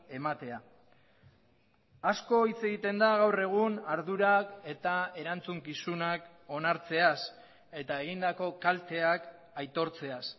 ematea asko hitz egiten da gaur egun ardurak eta erantzukizunak onartzeaz eta egindako kalteak aitortzeaz